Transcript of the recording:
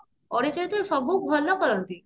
ଓଡିଆ ଚଳଚିତ୍ର ସବୁ ଭଲ କରନ୍ତି